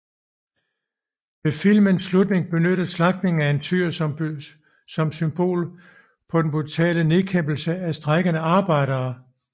Ved filmens slutning benyttes slagtningen af en tyr som symbol på den brutale nedkæmpelse af de strejkende arbejdere